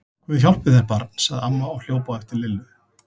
Guð hjálpi þér barn! sagði amma og hljóp á eftir Lillu.